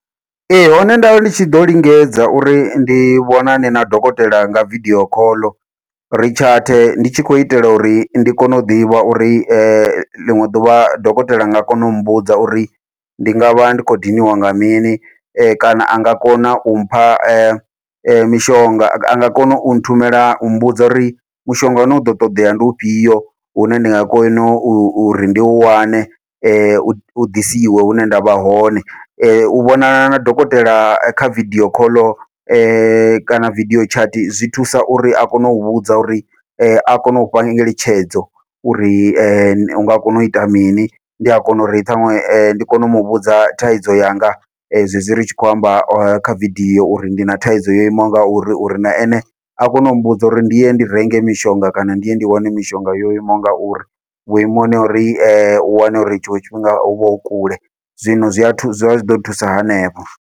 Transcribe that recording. Ee, hone nda ndi tshi ḓo lingedza uri ndi vhonane na dokotela nga vidio call, ri chat ndi tshi khou itela uri ndi kone u ḓivha uri ḽiṅwe ḓuvha dokotela anga kona u mbudza uri ndi ngavha ndi khou diniwa nga mini, kana anga kona u mpha mishonga anga kona u nthumela u mmbudza uri mushonga uno ḓo ṱoḓea ndi ufhio, hune ndi nga kona uri ndi u wane u ḓisiwe hune ndavha hone. U vhonana na dokotela kha vidio call kana vidio chat zwi thusa uri a kone u vhudza uri a kone ufha ngeletshedzo uri ene unga kona uita mini, ndi a kona uri ṱhanwe ndi kone u muvhudza thaidzo yanga zwezwi ri tshi khou amba kha video uri ndi na thaidzo yo imaho ngauri, uri na ene a kone u mmbudza uri ndi ye ndi renge mishonga kana ndi ye ndi wane mishonga yo imaho ngauri, vhuimoni ha uri u wane uri tshiṅwe tshifhinga huvha hu kule zwino zwi a thusa zwa zwi ḓo thusa hanefho.